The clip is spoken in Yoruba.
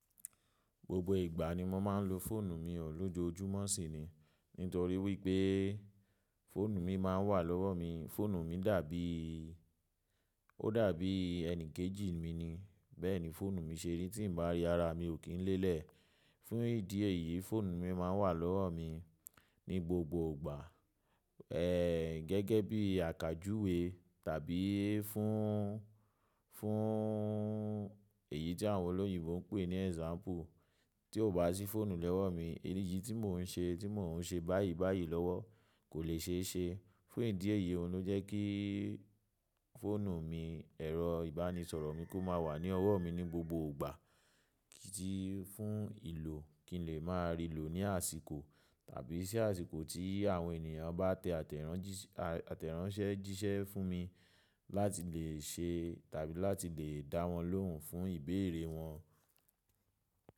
Gbogbo ìgbà ni mo máa ń lo fóònù mi o ọ̀lúojúmọ́ sì ni, nítorí wípé fóònù mi máa ń wà lọ́wọ́ mi, fóònù mi dàbí, ó dàbí ẹni kejì mi ni, bẹ́ẹ̀ni fóònù mi ṣeri tí n bá rí ara mi ò kín lélẹ̀. Fún ìdí èyí fóònù mi máa ń wà lọ́wọ́ mi ní gbogbo ìgbà, ẹ gẹ́gẹ́ bí àkájùwèé tàbí fún, fún èyí tí àwọn olóyìnbo ń pè ní example. Tí o bá sí fóònù lowọ̀ mi, èyí tí mò ń ṣe, tí mò ń ṣe báyìí báyìí lọ́wọ́ kò lè ṣe é ṣe. Fún ìdí èyíí òun ló jẹ́ kíí fóònù mi ẹ̀rọ ìbánisọ̀rọ̀ mi kó ma wà ní ọwọ́ mi ní gbogbo ìgbà tí fún ìlò kin lè máa rí lò ní àsìkò àbí sí tí àsìkò tí àwọn èèyàn bá tẹ àtẹ̀ránsẹ́ jíṣẹ́ fún mi láti lè ṣe tàbí láti lè dáwọn lóhùn fún ìbéèrè wọn.